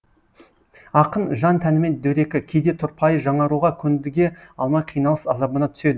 ақын жан тәнімен дөрекі кейде тұрпайы жаңаруға көндіге алмай қиналыс азабына түседі